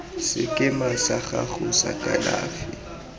sekema sa gago sa kalafi